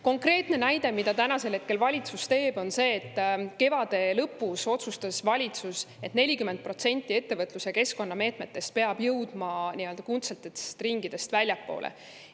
Konkreetne näide selle kohta, mida valitsus teeb, on see, et kevade lõpus otsustas valitsus, et 40% ettevõtlus‑ ja keskkonnameetmetest peab jõudma nii-öelda kuldsetest ringidest väljapoole.